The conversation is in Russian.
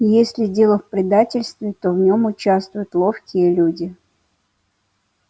если дело в предательстве то в нем участвуют ловкие люди